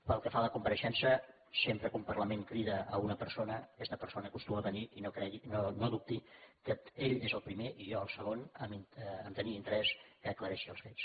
pel que fa a la compareixença sempre que un parlament crida una persona aquesta persona acostuma a venir i no dubti que ell és el primer i jo el segon a tenir interès que aclareixi els fets